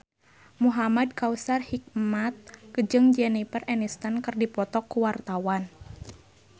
Muhamad Kautsar Hikmat jeung Jennifer Aniston keur dipoto ku wartawan